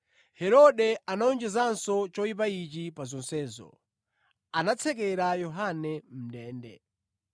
Herode anawonjezanso choyipa ichi pa zonsezo: Anatsekera Yohane mʼndende.